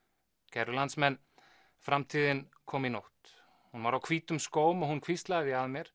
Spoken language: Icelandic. kæru landsmenn framtíðin kom í nótt hún var á hvítum skóm og hún hvíslaði að mér